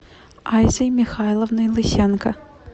айзой михайловной лысенко